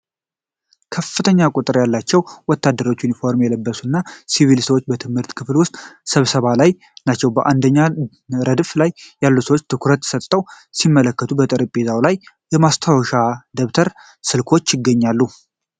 ከፍተኛ ቁጥር ያላቸው ወታደራዊ ዩኒፎርም የለበሱና ሲቪል ሰዎች በትምህርት ክፍል ውስጥ ስብሰባ ላይ ናቸው። በአንደኛ ረድፍ ላይ ያሉ ሰዎች ትኩረት ሰጥተው ሲመለከቱ፣ በጠረጴዛዎቻቸው ላይ ማስታወሻ ደብተርና ስልኮች ይገኛሉ።